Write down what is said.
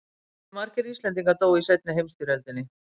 Hve margir Íslendingar dóu í seinni heimsstyrjöldinni?